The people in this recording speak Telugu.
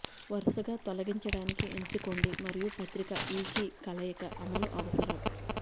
వరుసగా తొలగించడానికి ఎంచుకోండి మరియు పత్రికా ఈ కీ కలయిక అమలు అవసరం